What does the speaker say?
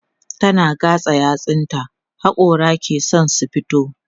tana gatsa yatsun ta hakora ke San su fito